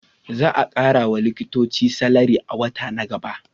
Za a kara wa likitoci salari a wata na gaba